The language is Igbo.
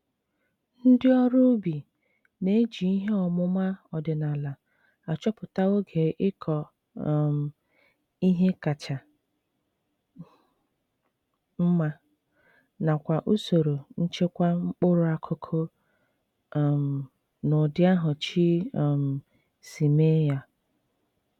Ndị ọrụ ubi.na-eji ihe ọmụma ọdịnala achọpụta oge ịkọ um ihe kacha mma, nakwa usoro nchekwa mkpụrụ akụkụ um n'ụdị ahụ Chi um si.meeya.